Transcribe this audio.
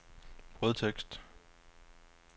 brødtekst